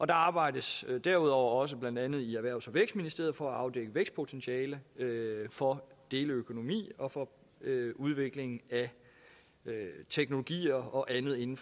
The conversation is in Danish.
der arbejdes derudover også blandt andet i erhvervs og vækstministeriet for at afdække vækstpotentialet for deleøkonomi og for udviklingen af teknologier og andet inden